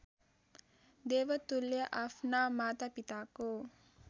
देवतुल्य आफ्ना मातापिताको